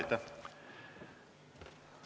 Aitäh!